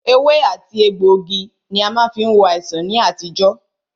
Ewé àti egbògi ní a má fí ń wo àìsàn ní àtijọ́.